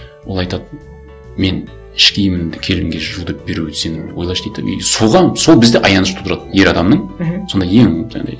ол айтады мен іш киімімді келінге жу деп беру сен ойлашы дейді де и соған сол бізде аяныш тудырады ер адамның мхм сондай ең жаңағындай